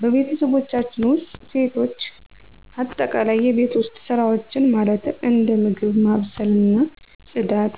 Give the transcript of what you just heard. በቤተሰቦቻችን ውስጥ ሴቶች አጠቃላይ የቤት ውስጥ ሰራዎችን ማለትም እንደ ምግብ ማብሰልና ፅዳት፤